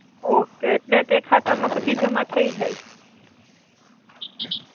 okay એટ્લે તે ખાતા મા પછી જમા થઇ જાઇ